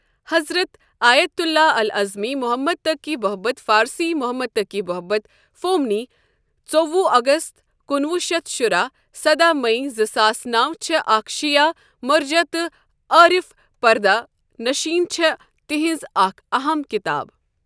حضرت آیت الله العظمی محمد تقی بهجت فارسی محمدتقی بهجت فومنی ژووُہ اَگَست کُنوُہ شیتھ شُراہ سداہ مئی زٕ ساس نَو چھےٚ اَکھ شیعہ مرجع تہٕ عارف پردہ نشین چھےٚ تہنز اَکھ اہم کتاب۔